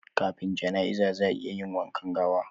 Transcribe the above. Kafin janaiza zaa ayi wankan gawa